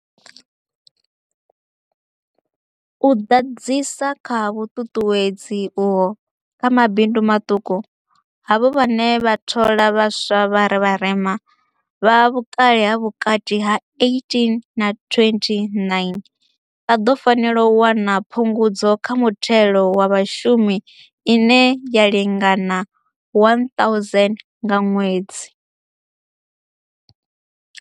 U ḓadzisa kha vhuṱuṱuwedzi uho kha mabindu maṱuku, havho vhane vha thola vha swa vha vharema, vha vhukale ha vhukati ha 18 na 29, vha ḓo fanela u wana phungudzo kha muthelo wa vhashumi ine ya lingana R1000 nga ṅwedzi.